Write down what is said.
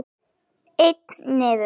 Einn niður!